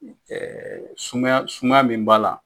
sumaya sumaya min b'a la